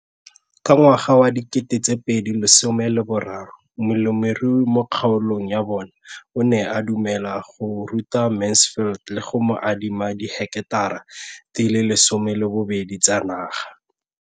Ka ngwaga wa 2013, molemirui mo kgaolong ya bona o ne a dumela go ruta Mansfield le go mo adima di heketara di le 12 tsa naga.